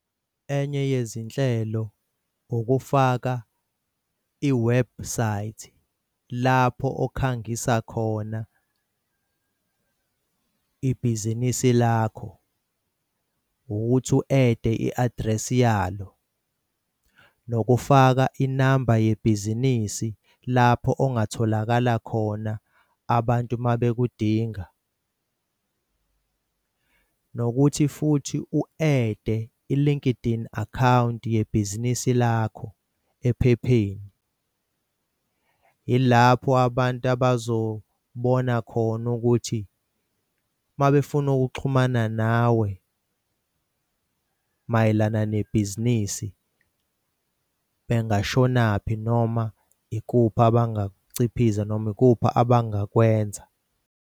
Enye yezinhlelo ukufaka iwebhusayithi lapho okhangisa khona ibhizinisi lakho ukuthi u-add-e i-address yalo. Nokufaka inamba yebhizinisi lapho ongatholakala khona abantu uma bekudinga. Nokuthi futhi u-add-e i-LinkedIn akhawunti yebhizinisi lakho ephepheni. Yilapho abantu abazobona khona ukuthi uma befuna ukuxhumana nawe mayelana nebhizinisi bengashona kuphi noma ikuphi abangakuciphiza noma ikuphi abangakwenza.